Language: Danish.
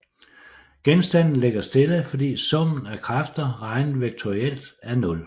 Genstanden ligger stille fordi summen af kræfter regnet vektorielt er nul